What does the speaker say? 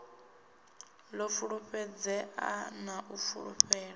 ḓo fulufhedzea na u fulufhela